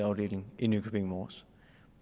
afdeling i nykøbing mors